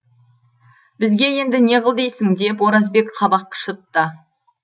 бізге енді не қыл дейсің деп оразбек қабақ шытты